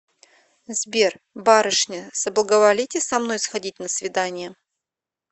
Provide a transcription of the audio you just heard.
сбер барышня соблаговолите со мной сходить на свидание